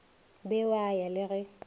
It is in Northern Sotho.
be wa ya le ge